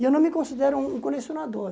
E eu não me considero um um colecionador.